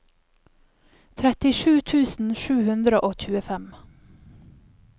trettisju tusen sju hundre og tjuefem